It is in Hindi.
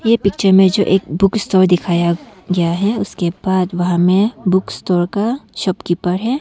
ये पिक्चर में जो एक बुक स्टोर दिखाया गया है उसके बाद वाह में हमें बुक स्टोर का शॉपकीपर है।